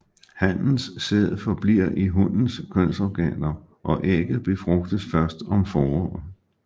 Hannens sæd forbliver i hunnens kønsorganer og ægget befrugtes først om foråret